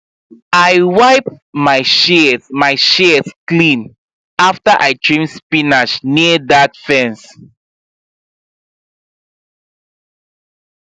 i wipe my shears my shears clean after i trim spinach near that fence